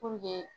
Puruke